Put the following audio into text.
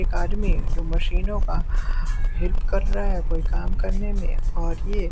एक आदमी जो मशीनों का हेल्प कर रहा है कोई काम करने में और ये